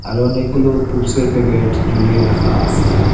আরও অনেকগুলো প্রুপসের প্যাকেট ঝুলিয়ে রাখা আছে।